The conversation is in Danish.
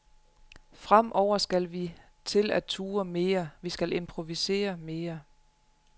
Fremover skal vi til at turde mere, vi skal improvisere mere.